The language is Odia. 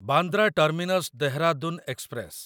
Bandra terminus Dehradun express